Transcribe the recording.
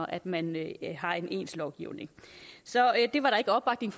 at man har en ens lovgivning så det var der ikke opbakning